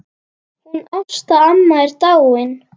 Hún Ásta amma er dáin.